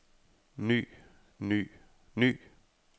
ny ny ny